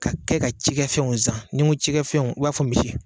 Ka kɛ ka cikɛfɛnw zan ni n ko cikɛfɛnw i b'a fɔ misi.